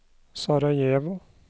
Sarajevo